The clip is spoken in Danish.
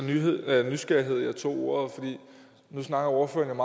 af nysgerrighed jeg tog ordet for nu snakker ordføreren